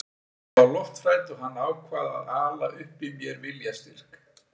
Ég var lofthrædd og hann ákvað að ala upp í mér viljastyrk.